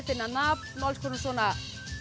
finna nafn og alls konar svona